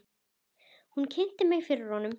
Hún kynnti mig fyrir honum.